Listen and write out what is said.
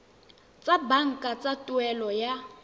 tsa banka tsa tuelo ya